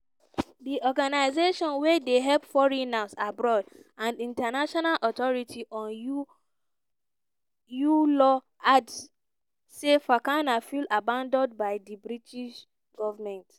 di organisation wey dey help foreigners abroad and international authority on uae law add say fakana feel "abandoned by di british goment".